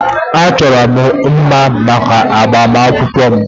Achọrọ m mma maka agbamakwụkwọ m.